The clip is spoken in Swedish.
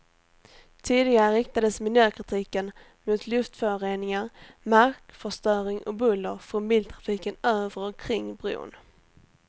Tidigare riktades miljökritiken mot luftföroreningar, markförstöring och buller från biltrafiken över och kring bron.